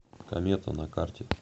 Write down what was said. комета на карте